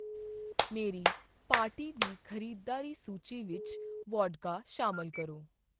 ਮੇਰੀ ਪਾਰਟੀ ਦੀ ਖ਼ਰੀਦਦਾਰੀ ਸੂਚੀ ਵਿੱਚ ਵੋਡਕਾ ਸ਼ਾਮਲ ਕਰੋ